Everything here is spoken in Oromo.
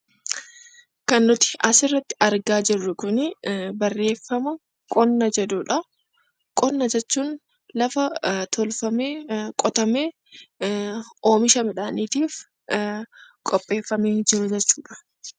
Qonna jechuun lafa tolfamee qotamee oomisha midhaaniitiif qopheeffamee jiru jechuudha .